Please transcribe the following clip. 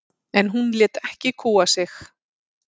En hún lét ekki kúga sig.